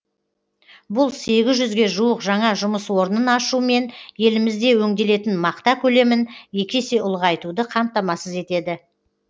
бұл сегіз жүзге жуық жаңа жұмыс орнын ашу мен елімізде өңделетін мақта көлемін екі есе ұлғайтуды қамтамасыз етеді